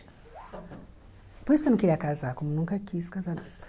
Por isso que eu não queria casar, como nunca quis casar mesmo.